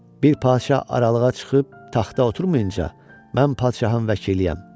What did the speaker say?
Bir padşah aralığa çıxıb taxta oturmayınca mən padşahın vəkiliyəm.